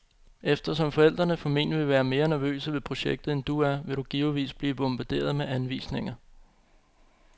Eftersom forældrene formentlig vil være mere nervøse ved projektet, end du er, vil du givetvis blive bombarderet med anvisninger.